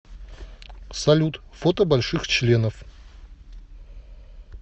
салют фото больших членов